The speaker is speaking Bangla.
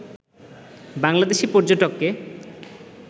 বাংলাদেশী পর্যটককে